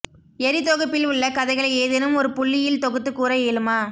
எரி தொகுப்பில் உள்ள கதைகளை ஏதேனும் ஒரு புள்ளியில் தொகுத்து கூற இயலுமா